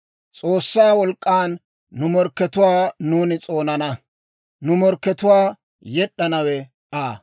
S'oossaa wolk'k'an nu morkkatuwaa nuuni s'oonana; nu morkkatuwaa yed'd'anawe Aa.